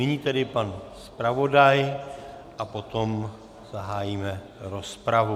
Nyní tedy pan zpravodaj a potom zahájíme rozpravu.